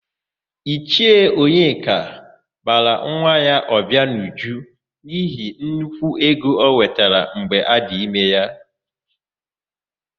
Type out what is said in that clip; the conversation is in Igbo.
Ichie Onyeka bara nwa ya Ọbịanuju n'ihi nnukwu ego ọ nwetara mgbe adị ime ya.